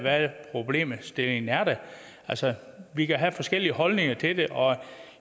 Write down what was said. problemstillingen er altså vi kan have forskellige holdninger til det og